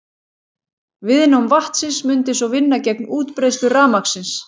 Viðnám vatnsins mundi svo vinna gegn útbreiðslu rafmagnsins.